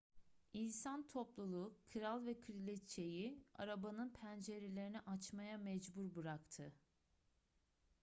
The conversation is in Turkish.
i̇nsan topluluğu kral ve kraliçe'yi arabanın pencerelerini açmaya mecbur bıraktı